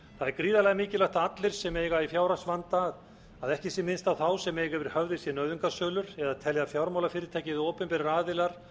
er gríðarlega mikilvægt að allir sem eiga í fjárhagsvanda að ekki sé minnst á þá sem eiga yfir höfði sér nauðungarsölur eða telja fjármálafyrirtæki eða opinberir aðilar